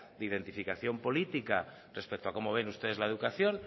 de identificación política respecto a cómo ven ustedes la educación